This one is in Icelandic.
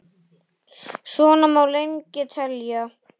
Svona má lengi telja.